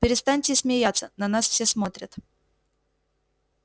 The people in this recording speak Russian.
перестаньте смеяться на нас все смотрят